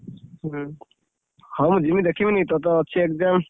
ହୁଁ, ହଁ, ମୁଁ ଯିମି ଦେଖିବିନି କି ତୋର ତ ଅଛି exam ।